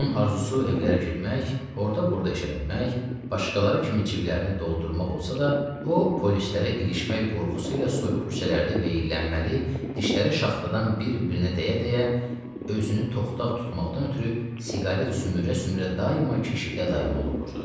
Onun arzusu evlərə girmək, orda-burda iş ələnmək, başqaları kimi cibləri doldurmaq olsa da, o, polislərə ilişmək qorxusu ilə soyuq küçələrdə veyillənməli, dişləri şaxtadan bir-birinə dəyə-dəyə, özünü toxdağ tutmaqdan ötrü siqaret sümürə-sümürə daima keşiyə dayanmalı olurdu.